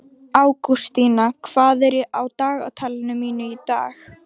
Ágústína, hvað er á dagatalinu mínu í dag?